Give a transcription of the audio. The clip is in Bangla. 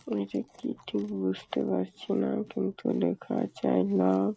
ওইটা কি ঠিক বুঝতে পারছি না কিন্তু লেখা আছে আই লাভ ।